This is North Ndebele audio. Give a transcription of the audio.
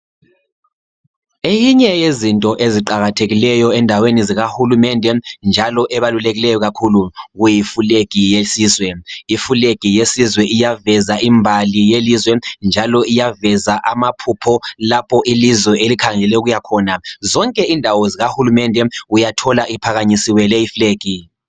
Eyinye yezinto eziqakathekileyo endaweni zikahulumende njalo ebalulekileyo kakhulu kuyiflegi yesizwe. Iflegi yesizwe iyaveza imbali yelizwe njalo iyaveza amaphupho lapho ilizwe elikhangele ukuya khona. Zonke indawo zikahulumende uyathola iphakamisiwe leyi iflegi.